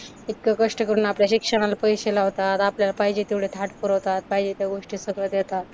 कष्ट करून आपल्या शिक्षणाला पैशे लावतात, आपल्याला पाहिजे तेवढे थाट पुरवतात, पाहिजे त्या गोष्टी सगळं देतात.